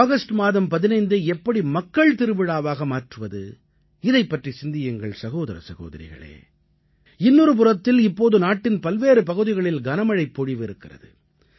August மாதம் 15ஐ எப்படி மக்கள் திருவிழாவாக மாற்றுவது இதைப் பற்றி சிந்தியுங்கள் சகோதர சகோதரிகளே இன்னொரு புறத்தில் இப்போது நாட்டின் பல்வேறு பகுதிகளில் கனமழைப் பொழிவு இருக்கிறது